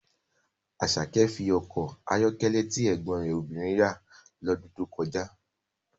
Asake fi ọkọ̀ ayọ́kẹ́lẹ́ tí ẹ̀gbọ́n rẹ̀ obìnrin rà lọ́dún tó kọjá